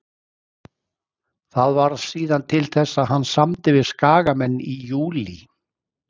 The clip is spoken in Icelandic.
Það varð síðan til þess að hann samdi við Skagamenn í júlí.